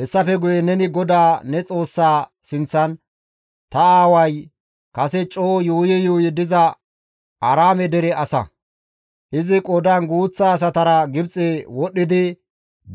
Hessafe guye neni GODAA ne Xoossaa sinththan, «Ta aaway kase coo yuuyi yuuyi diza Aaraame dere asa; izi qoodan guuththa asatara Gibxe wodhdhidi